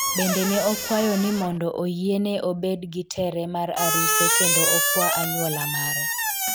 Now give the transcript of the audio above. bende ne okwayo ni mondo oyiene obed gi tere mar aruse kendo okwa anywola mare